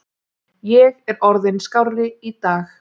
Ég er orðinn skárri í dag.